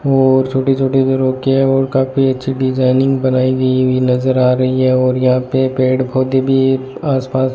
और छोटे छोटे और काफी अच्छी डिजाइनिंग बनाई गई हुई नजर आ रही है और यहां पे पेड़ पौधे भी आस पास --